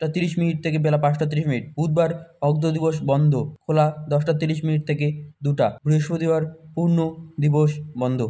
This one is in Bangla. তিরিশ মিনিট থেকে বেলা পাঁচটা তিরিশ মিনিট বুধবার অর্ধ দিবস বন্ধ খোলা দশটা তিরিশ মিনিট থেকে দুটা বৃহস্পতিবারপূর্ণদিবস বন্ধ।